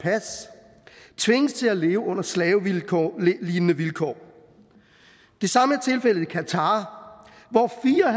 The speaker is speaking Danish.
tvinges til at leve under slavelignende vilkår det samme er tilfældet i qatar hvor fire og